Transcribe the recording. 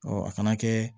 a kana kɛ